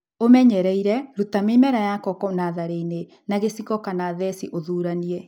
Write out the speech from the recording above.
ũmenyereire ruta mĩmera ya koko natharĩinĩ na gĩciko lna theci na ũthuranie.